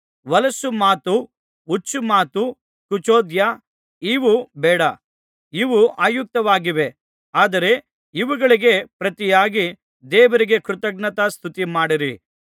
ಹೊಲಸು ಮಾತು ಹುಚ್ಚು ಮಾತು ಕುಚೋದ್ಯ ಇವು ಬೇಡ ಇವು ಅಯುಕ್ತವಾಗಿವೆ ಆದರೆ ಇವುಗಳಿಗೆ ಪ್ರತಿಯಾಗಿ ದೇವರಿಗೆ ಕೃತಜ್ಞತಾಸ್ತುತಿಮಾಡಿರಿ